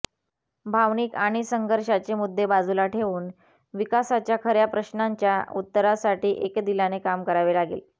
भावनिक आणि संघर्षाचे मुद्दे बाजूला ठेऊन विकासाच्या खऱ्या प्रश्नांच्या उत्तरासाठी एकदिलाने काम करावे लागेल